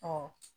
Ɔ